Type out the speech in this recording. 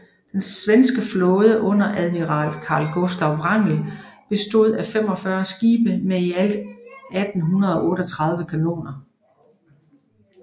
Den svenske flåde under admiral Carl Gustav Wrangel bestod af 45 skibe med i alt 1838 kanoner